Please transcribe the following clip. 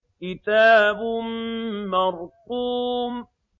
كِتَابٌ مَّرْقُومٌ